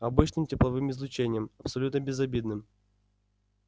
обычным тепловым излучением абсолютно безобидным